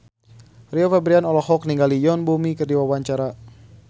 Rio Febrian olohok ningali Yoon Bomi keur diwawancara